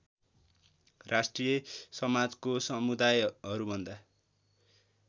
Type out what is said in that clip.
राष्ट्रिय समाजको समुदायहरूभन्दा